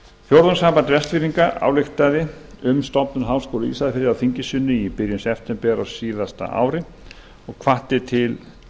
fjórðungssamband vestfirðinga ályktaði um stofnun háskóla á ísafirði á þingi sínu í byrjun september á síðasta ári og hvatti til